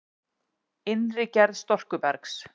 Innri gerð storkubergs